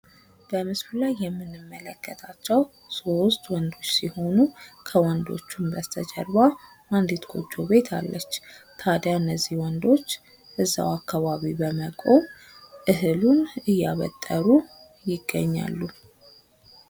በምስሉ ላይ የምንመለከታቸው ሶስት ወንዶች ሲሆኑ ከወንዶቹም በስተጀርባ አንዲት ጎጆ ቤት አለች። ታዲያ እነዚህ ወንዶች እዛው አካባቢ በመቆም እህሉን እያበጠሩ ይገኛሉ።